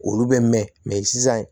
Olu bɛ mɛn mɛ sisan